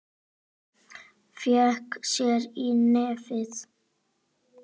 Fékk sér í nefið.